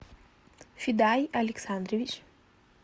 федай александрович